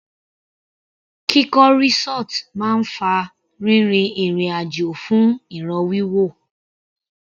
Kíkọ́ resort máa ń fa rírin ìrìn àjò fún ìràn wíwò.